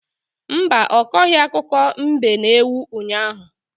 Mba, ọ kọghị akụkọ mbe na ewu unyaahụ.